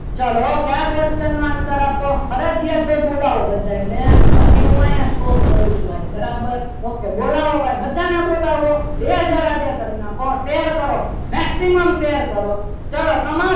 ચાલો કયા question નો answer આપો ફરજિયાત બોલાવો બધાને બાકી હું અહીંયા stop કરું છું ભાઈ બરાબર okay bye બોલાવો બધાને બોલાવો બે હાજર આજે કરી નાખો share કરો maximum share કરો ચલો સમાસ